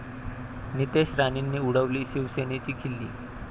नितेश राणेंनी उडवली शिवसेनेची खिल्ली